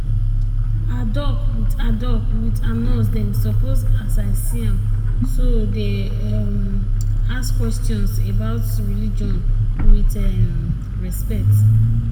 ah doc with ah doc with ah nurse dem suppose as i see am so dey um ask questions about religion with um respect.